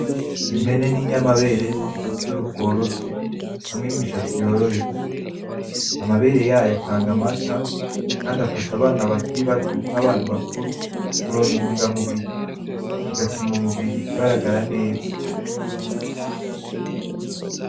Impene n'inyamabere nto ifise uruhu rworoshe hamwe n'imishatsi yoroheje, amabere yayo atanga amata, kandi afasha abana bakiri bato n'abantu bakuru kuronka intunga mubiri bigatuma umuburiri ugaragara neza.